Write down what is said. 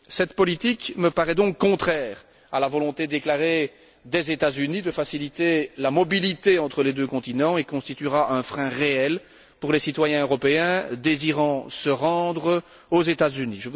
Cette politique me paraît donc contraire à la volonté déclarée des États Unis de faciliter la mobilité entre les deux continents et constituera un frein réel pour les citoyens européens désirant se rendre aux États Unis.